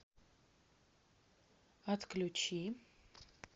отключи